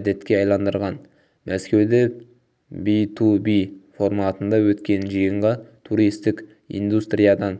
әдетке айналдырған мәскеуде би-ту-би форматында өткен жиынға туристік индустриядан